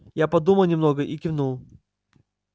я подумал немного и кивнул